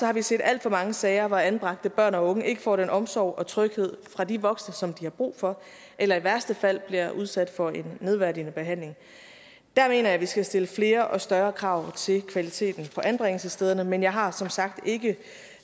har vi set alt for mange sager hvor anbragte børn og unge ikke får den omsorg og tryghed fra de voksne som de har brug for eller i værste fald bliver udsat for en nedværdigende behandling der mener jeg vi skal stille flere og større krav til kvaliteten på anbringelsesstederne men jeg har som sagt ikke